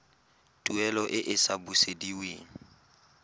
tuelo e e sa busediweng